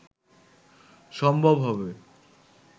সম্ভব হবে